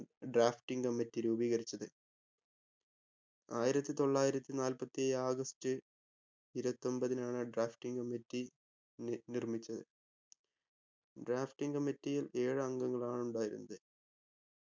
drafting committee രൂപീകരിച്ചത് ആയിരത്തി തൊള്ളായിരത്തി നാൽപ്പത്തേഴ് ഓഗസ്റ്റ് ഇരുപത്തൊമ്പതിനാണ് drafting committee നി നിർമിച്ചത് drafting committee യിൽ ഏഴ് അംഗങ്ങളാണുണ്ടായിരുന്നത്